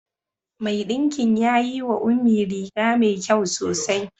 Mai ɗinkin ya yi wa Ummi riga mai kyau sosai.